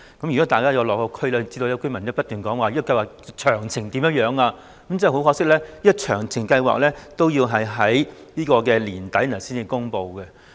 如果大家有落區便會知道，市民都不斷查詢計劃的詳情為何，但很可惜，詳情要待年底才會公布。